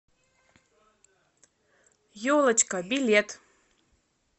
елочка билет